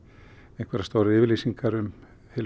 einhverjar stórar yfirlýsingar um heilu